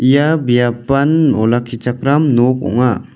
ia biapan olakkichakram nok ong·a.